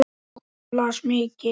Hún las mikið.